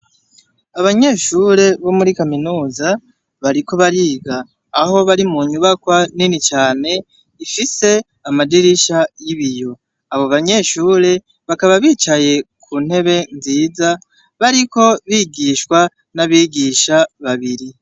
Abanyeshure bo muri kaminuza bariko bariga aho bari mu nyubakwa nini cane ifise amadirisha y'ibiyo abo banyeshure bakaba bicaye ku ntebe nziza bariko bigishwa n'abigisha babiri.